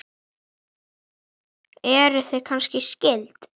Eruð þið kannski skyld?